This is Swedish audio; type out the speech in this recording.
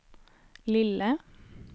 lille